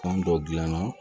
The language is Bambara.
Fan dɔ gilana